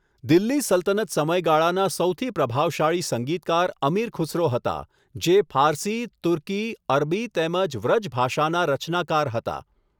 દિલ્હી સલ્તનત સમયગાળાના સૌથી પ્રભાવશાળી સંગીતકાર અમીર ખુસરો હતા, જે ફારસી, તુર્કી, અરબી તેમજ વૃજ ભાષાના રચનાકાર હતા.